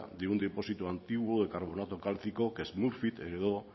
de un depósito antiguo de carbonato cálcico que es smurfit heredó